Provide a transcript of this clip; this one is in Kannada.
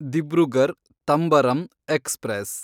ದಿಬ್ರುಗರ್ ತಂಬರಂ ಎಕ್ಸ್‌ಪ್ರೆಸ್